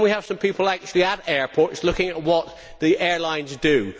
Can we have some people actually at airports looking at what the airlines do?